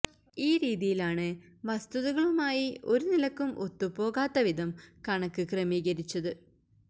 ഈ രീതിയിലാണ് വസ്തുതകളുമായി ഒരു നിലക്കും ഒത്തുപോകാത്ത വിധം കണക്ക് ക്രമീകരിച്ചത്